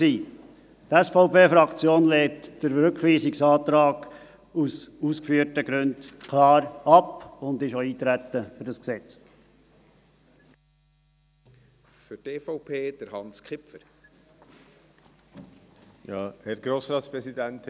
Die SVP-Fraktion lehnt den Rückweisungsantrag aus den ausgeführten Gründen klar ab und ist auch für das Eintreten auf dieses Gesetz.